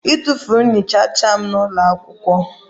Etufuru m nchicha m n'ụlọ akwụkwọ